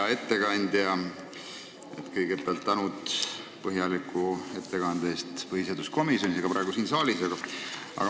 Hea ettekandja, kõigepealt tänan põhjaliku ettekande eest põhiseaduskomisjonis ja ka praegu siin saalis.